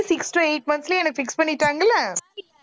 six to eight month லயே என்னை fix பண்ணிட்டாங்கல்ல